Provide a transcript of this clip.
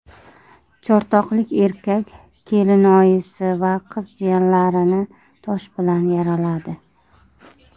Chortoqlik erkak kelinoyisi va qiz jiyanlarini tosh bilan yaraladi.